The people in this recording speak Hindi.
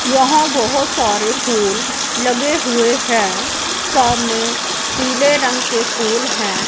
यहां बहुत सारे फूल लगे हुएं हैं सामने पीले रंग के फूल हैं।